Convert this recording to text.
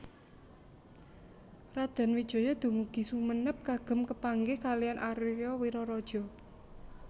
Raden Wijaya dumugi Sumenep kagem kepanggih kaliyan Aria Wiraraja